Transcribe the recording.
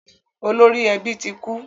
Olori ẹbí tí kú